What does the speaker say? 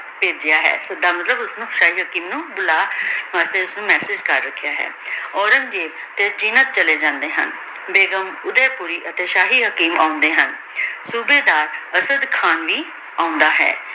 ਭੇਜ੍ਯਾ ਹੈ ਏਸ ਦਾ ਮਤਲਬ ਓਸ੍ਨੀ ਸ਼ਾਹੀ ਹਕੀਮ ਨੂ ਬੁਲਾ ਕਰ ਰਖ੍ਯਾ ਹੈ ਔਰੇਨ੍ਗ੍ਜ਼ੇਬ ਤੇਜ਼ੀ ਨਾਲ ਚਲੀ ਜਾਂਦੀ ਹਨ ਬੇਗੁਮ ਓੜੀ ਕੁਰੀ ਅਤੀ ਸ਼ਾਹੀ ਹਕੀਮ ਆਉਂਦੀ ਹਨ ਓਡੀ ਨਾਲ ਅਸਾਡ ਖਾਂ ਵੀ ਆਉਂਦਾ ਹੈ